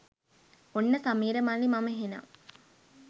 ඔන්න සමීර මල්ලී මම එහෙනම්